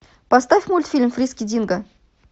поставь мультфильм фриски динго